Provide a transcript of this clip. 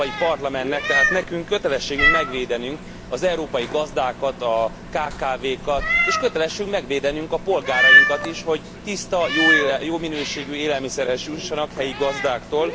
Az Európai Parlamentnek, tehát nekünk, kötelességünk megvédenünk az európai gazdákat, a kkv kat, és kötelességünk megvédenünk a polgárainkat is, hogy tiszta, jó minőségű élelmiszerhez jussanak helyi gazdáktól.